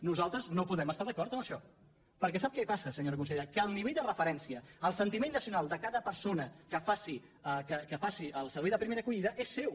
nosaltres no podem estar d’acord en això perquè sap què passa senyora consellera que el nivell de referència el sentiment nacional de cada persona que faci el servei de primera acollida és seu